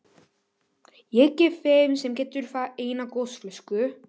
Ég gef þeim sem getur það eina gosflösku.